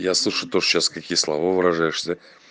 я слышу то что сейчас какие слова выражаешься да